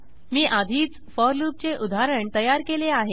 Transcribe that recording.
मी आधीच फोर लूपचे उदाहरण तयार केले आहे